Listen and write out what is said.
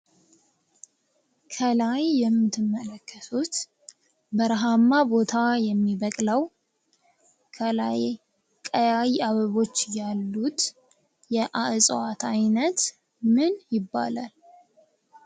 ከላይ የምትመለከቱት በረሃማ ቦታ የሚበቅለው ፣ ከላይ ቀያይ አበቦች ያሉት የእጽዋት አይነት ምን ይባላል?